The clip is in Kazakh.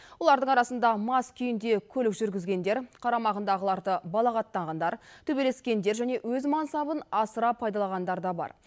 олардың арасында мас күйінде көлік жүргізгендер қарамағындағыларды балағаттағандар төбелескендер және өз мансабын асыра пайдаланғандар да бар